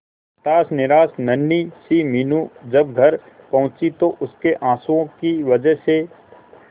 हताश निराश नन्ही सी मीनू जब घर पहुंची तो उसके आंसुओं की वजह से